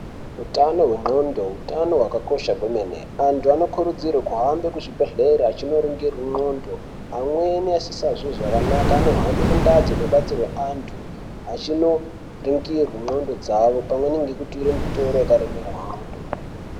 Utano hwendxondo utano kwakakosha kwemene. Antu anokurudzirwe kuhambe kuzvibhehlere achinoringirwe ndxondo amweni asisazwi zvakanaka anohambe kundaa dzinobatsirwe antu achinoringirwa ndxondo dzavo pamwe ngekutura mitoro yakaremera antu.